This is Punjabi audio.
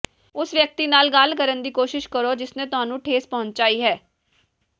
ਉਸ ਵਿਅਕਤੀ ਨਾਲ ਗੱਲ ਕਰਨ ਦੀ ਕੋਸ਼ਿਸ਼ ਕਰੋ ਜਿਸਨੇ ਤੁਹਾਨੂੰ ਠੇਸ ਪਹੁੰਚਾਈ ਹੈ